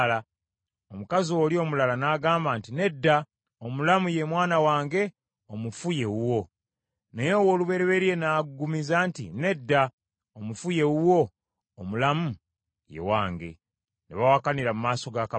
Omukazi oli omulala n’agamba nti, “Nedda! Omulamu ye mwana wange, omufu ye wuwo.” Naye ow’olubereberye n’aggumiza nti, “Nedda! Omufu ye wuwo, omulamu ye wange.” Ne bawakanira mu maaso ga kabaka.